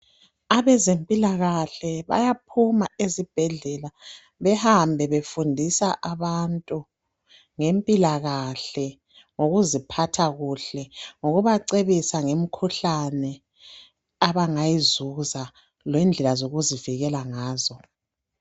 Abeze mpilakahle bayaphuma esibhedlela behambe befundisa abantu ngempila kahle lokuziphatha kuhle ngokuba cebisa ngemikhuhlane abangayizuza lendlela yokuzivikela ngazo